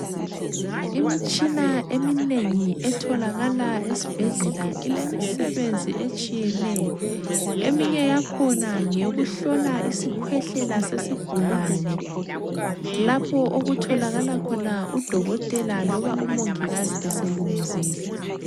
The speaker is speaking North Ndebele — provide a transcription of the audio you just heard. Imitshina eminengi etholakala esibhedlela ilemisebenzi etshiyeneyo. Eminye yakhona ngeyokuhlola isikhwehlela sesigulane, lapho okutholakala khona udokotela loba umongikazi eselunguzile.